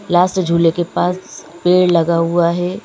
Last झूले के पास पेड़ लगा हुआ है।